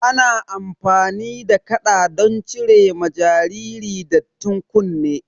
Ana amfani da kaɗa don cire ma jariri dattin kunne